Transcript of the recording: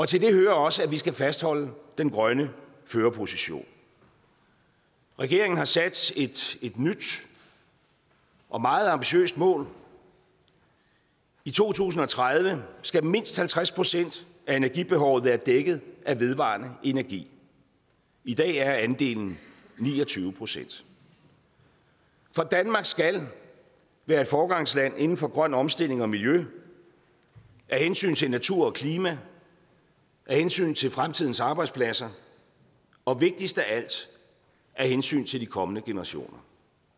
til det hører også at vi skal fastholde den grønne førerposition regeringen har sat et nyt og meget ambitiøst mål i to tusind og tredive skal mindst halvtreds procent af energibehovet være dækket af vedvarende energi i dag er andelen ni og tyve procent for danmark skal være et foregangsland inden for grøn omstilling og miljø af hensyn til naturen og klimaet af hensyn til fremtidens arbejdspladser og vigtigst af alt af hensyn til de kommende generationer